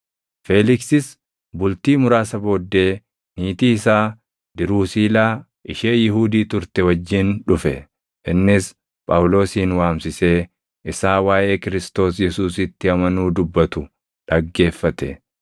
Feeliksis bultii muraasa booddee niitii isaa Diruusiilaa ishee Yihuudii turte wajjin dhufe; innis Phaawulosin waamsisee isaa waaʼee Kiristoos Yesuusitti amanuu dubbatu dhaggeeffate.